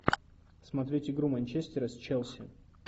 смотреть игру манчестера с челси